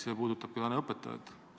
See puudutab ka õpetajaid.